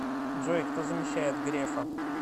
джой кто замещает грефа